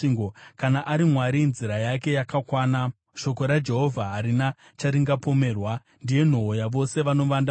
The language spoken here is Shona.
Kana ari Mwari, nzira yake yakakwana; shoko raJehovha harina charingapomerwa. Ndiye nhoo yavose vanovanda maari.